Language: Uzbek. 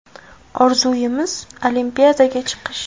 Orzuyimiz Olimpiadaga chiqish.